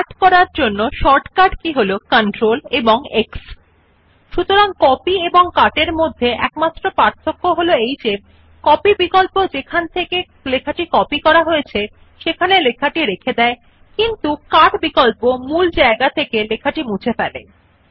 কাট এর শর্টকাট কি হল CTRLX সতরাং কপি এবং কাট এর মধ্যে একমাত্র পার্থক্য হল কপি বিকল্প যেখান থেকে লেখাটি কপি করা হয়েছে সেখানে লেখাটি রেখে দেয় কিন্তু কাট বিকল্প মূল জায়গা থেকে লেখাটি মুছে ফেলে